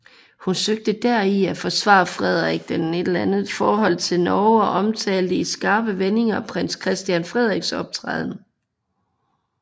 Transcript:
Hun søgte deri at forsvare Frederik VIs forhold til Norge og omtalte i skarpe vendinger prins Christian Frederiks optræden